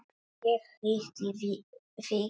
Ég hitti þig víst!